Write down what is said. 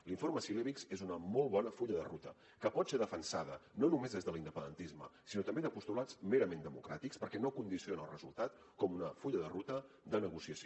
l’informe cilevics és un molt bon full de ruta que pot ser defensada no només des de l’independentisme sinó també des de postulats merament democràtics perquè no condiciona el resultat com un full de ruta de negociació